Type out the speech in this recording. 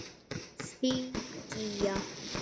Þín alltaf, Gígja.